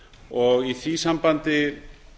og í því sambandi